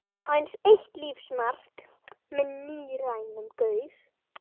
Aðeins eitt lífsmark með níræðum gaur.